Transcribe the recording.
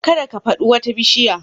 Kada ka fadi wata bishiya